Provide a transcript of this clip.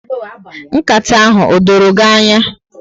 Nkata ahụ o dọrọ gị ányá.